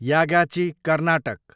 Yagachi, Karnataka